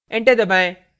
enter दबाएं